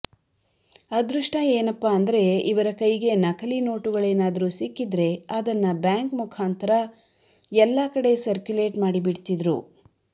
ಅದೃಷ್ಟ ಏನಪ್ಪಾ ಅಂದ್ರೆ ಇವರ ಕೈಗೆ ನಕಲಿ ನೋಟುಗಳೇನಾದ್ರೂ ಸಿಕ್ಕಿದ್ರೆ ಅದನ್ನ ಬ್ಯಾಂಕ್ ಮುಖಾಂತರ ಎಲ್ಲಾ ಕಡೆ ಸರ್ಕ್ಯೂಲೆಟ್ ಮಾಡಿಬಿಡ್ತಿದ್ರು